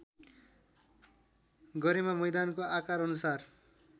गरेमा मैदानको आकारअनुसार